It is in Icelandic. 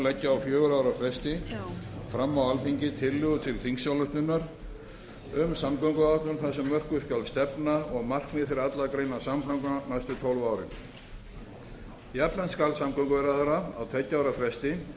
leggja á fjögurra ára fresti fram á alþingi tillögu til þingsályktunar um samgönguáætlun þar sem mörkuð skal stefna og markmið fyrir allar greinar samgangna næstu tólf árin jafnframt skal samgönguráðherra á tveggja ára fresti leggja